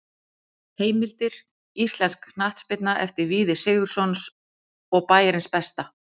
Heimildir: Íslensk knattspyrna eftir Víði Sigurðsson og Bæjarins besta.